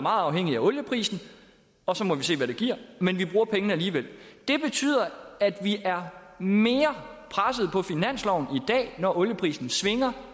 afhængigt af olieprisen og så må vi se hvad det giver men vi bruger pengene alligevel det betyder at vi er mere presset på finansloven i dag når olieprisen svinger